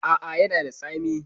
A a, ya na da tsami.